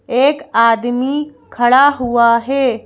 एक आदमी खड़ा हुआ है।